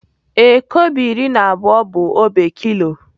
Ee, kobo iri na abụọ bụ obe kilo.